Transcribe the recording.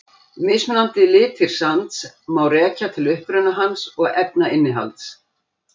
Mismunandi litir sands má rekja til uppruna hans og efnainnihalds.